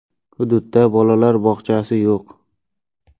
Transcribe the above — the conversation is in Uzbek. Hududdda bolalar bog‘chasi yo‘q.